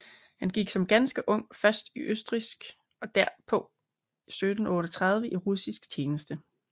Han gik som ganske ung først i østrigsk og derpå 1738 i russisk tjeneste